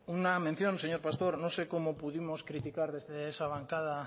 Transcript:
una mención señor pastor no sé cómo pudimos criticar desde esa bancada